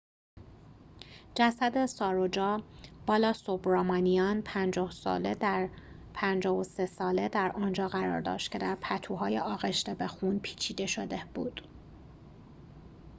جسد ساروجا بالاسوبرامانیان ۵۳ ساله در آنجا قرار داشت که در پتوهای آغشته به خون پیچیده شده بود